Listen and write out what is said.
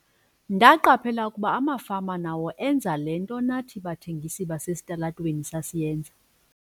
"Ndaqaphela ukuba amafama nawo enza le nto nathi bathengisi basesitalatweni sasiyenza."